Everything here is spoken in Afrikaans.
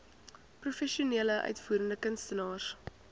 professionele uitvoerende kunstenaars